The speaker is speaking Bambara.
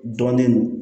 Dɔnnen don